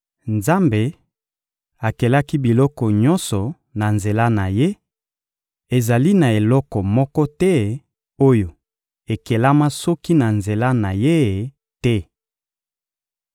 Nzambe akelaki biloko nyonso na nzela na Ye; ezali na eloko moko te oyo ekelama soki na nzela na Ye te.